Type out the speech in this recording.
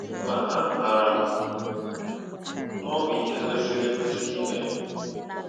Ma amaara m na ọ bụ ihe kwesịrị ekwesị ime.